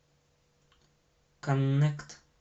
коннект